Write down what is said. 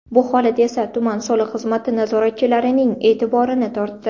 Bu holat esa tuman soliq xizmati nazoratchilarining e’tiborini tortdi.